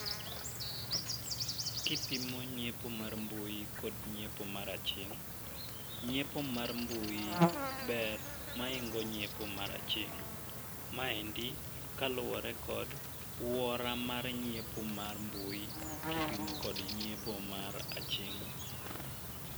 Kipimo nyiepo mar mbui kod nyiepo mar aching', nyiepo mar mbui ber ma hingo nyiepo mar aching'. Maendi kaluwore kod wuora mar nyiepo mar mbui kipimo kod nyiepo mar aching'.